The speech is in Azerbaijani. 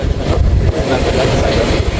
Xoş gəlmisiniz.